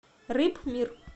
рыбмир